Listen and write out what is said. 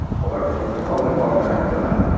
সবার খুব একটা problem হবে না, রাতের বেলা আসতে।